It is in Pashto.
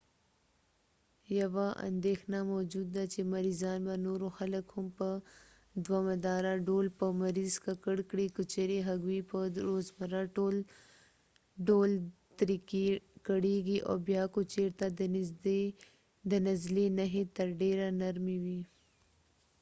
یوه اندیښنه موجود ده چې مریضان به نورو خلک هم په دوامداره ډول په مرض ککړ کړي که چیرې هغوی په روزمره ډول ترې کړېږي او بیا که چیرته د نزلې نښې تر ډیره نرمې وي